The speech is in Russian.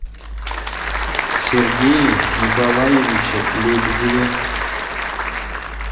сергее николаевиче лебедеве